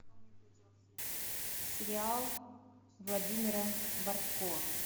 сериал владимира бортко